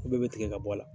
Ko bɛɛ bɛ tigɛ ka bɔ a la